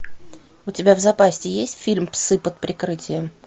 у тебя в запасе есть фильм псы под прикрытием